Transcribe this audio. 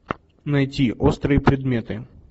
найти острые предметы